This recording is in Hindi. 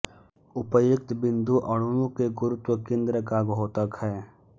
उपर्युक्त बिंदु अणुओं के गुरुत्व केंद्र का द्योतक है